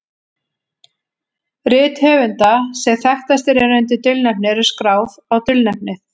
Rit höfunda sem þekktastir eru undir dulnefni eru skráð á dulnefnið.